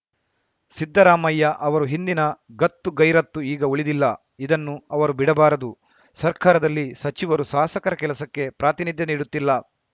ಸಿದ್ದರಾಮಯ್ಯ ಅವರು ಹಿಂದಿನ ಗತ್ತು ಗೈರತ್ತು ಈಗ ಉಳಿದಿಲ್ಲ ಇದನ್ನು ಅವರು ಬಿಡಬಾರದು ಸರ್ಕಾರದಲ್ಲಿ ಸಚಿವರು ಸಾಸಕರ ಕೆಲಸಕ್ಕೆ ಪ್ರಾತಿನಿಧ್ಯ ನೀಡುತ್ತಿಲ್ಲ